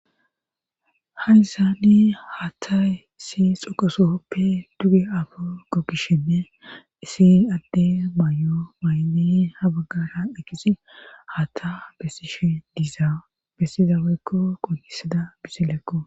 ha hissani ha tay issi xoqasohoppe duge afa kokkishenne isi adde may7o mayni ha baggara ekisi hata bessishe diiza bessiza woykko qonnisada biselekko